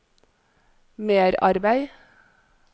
merarbeid